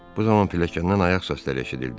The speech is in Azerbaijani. Bu zaman pilləkəndən ayaq səsləri eşidildi.